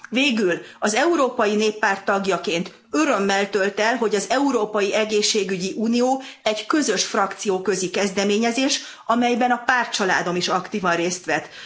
Végül az Európai Néppárt tagjaként örömmel tölt el, hogy az Európai Egészségügyi Unió egy közös frakcióközi kezdeményezés, amelyben a pártcsaládom is aktívan részt vett.